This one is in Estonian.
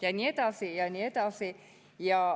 Ja nii edasi ja nii edasi.